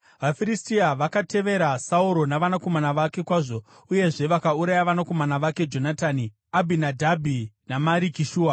VaFiristia vakatevera Sauro navanakomana vake kwazvo uyezve vakauraya vanakomana vake Jonatani, Abhinadhabhi naMariki-Shua.